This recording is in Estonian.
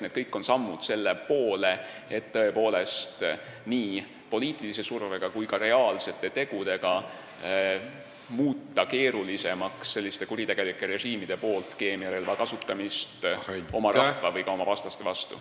Need kõik on sammud selle poole, et muuta nii poliitilise surve kui ka reaalsete tegudega keerulisemaks sellistel kuritegelikel režiimidel keemiarelva kasutamist oma rahva või ka oma vastaste vastu.